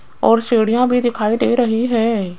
और सीढ़ियां भी दिखाई दे रही है।